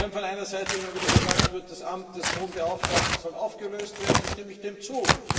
Wenn von einer Seite immer wieder gesagt wird, das Amt des Hohen Beauftragten soll aufgelöst werden, so stimme ich dem zu.